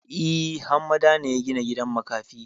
E, Hammada ne ya gina gidan makafi.